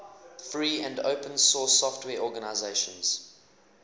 free and open source software organizations